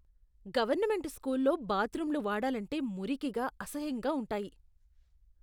Government స్కూల్లో బాత్రూంలు వాడాలంటే మురికిగా, అసహ్యంగా ఉంటాయి.